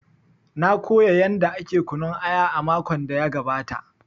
Na koya yanda ake kunun aya makon da ya gabata